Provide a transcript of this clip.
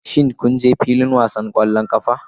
Shin kun je filin wasan ƙwallon ƙafa?